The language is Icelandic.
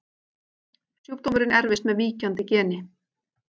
Sjúkdómurinn erfist með víkjandi geni.